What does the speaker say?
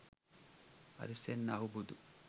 Ariyasen Ahubudu